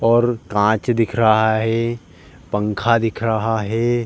और काँच दिख रहा हे पंखा दिख रहा हे।